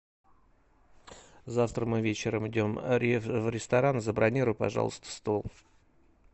завтра мы вечером идем в ресторан забронируй пожалуйста стол